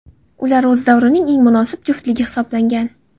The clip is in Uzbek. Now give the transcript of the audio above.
Ular o‘z davrining eng munosib juftligi hisoblangan.